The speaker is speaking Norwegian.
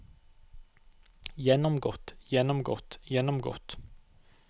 gjennomgått gjennomgått gjennomgått